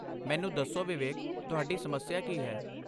ਮੈਨੂੰ ਦੱਸੋ, ਵਿਵੇਕ, ਤੁਹਾਡੀ ਸਮੱਸਿਆ ਕੀ ਹੈ?